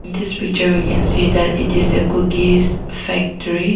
this picture we can see that it is a cookies factory.